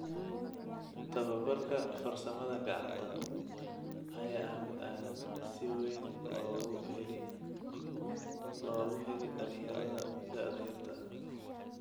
Tababarka farsamada gacanta ayaa ah mid aan si weyn loogu heli dhalinyarada daa yartaha.